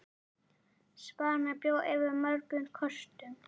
Svan bjó yfir mörgum kostum.